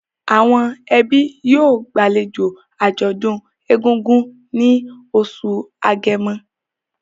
Àwọn ẹbí yóò gbàlejò àjọ̀dún egungun ní oṣù Agẹmọ